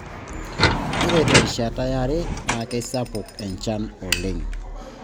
Ore terishata yare naa keisapuk enchan oleng